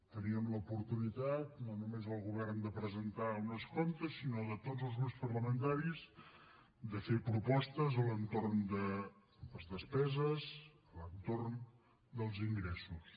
teníem l’oportunitat de no només el govern presentar uns comptes sinó de tots els grups parlamentaris fer propostes a l’entorn de les despeses a l’entorn dels ingressos